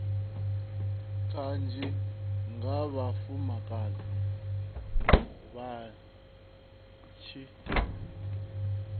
kanzhi nga vhafumakadzi vha tshi